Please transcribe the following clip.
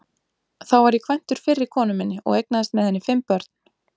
Þá var ég kvæntur fyrri konu minni og eignaðist með henni fimm börn.